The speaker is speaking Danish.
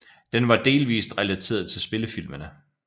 Den var delvist relateret til spillefilmene